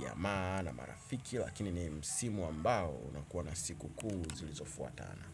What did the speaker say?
jamaa na marafiki, lakini ni msimu ambao unakuwa na siku kuu zilizofuatana.